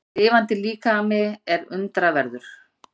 Lifandi líkami er undraverður.